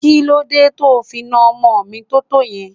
Kí ló dé to fi náà ọmọ mi tótó yẹn?